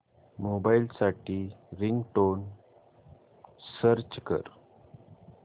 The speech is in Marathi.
मोबाईल साठी रिंगटोन सर्च कर